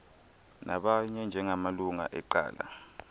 nabanye njengamalungu eqela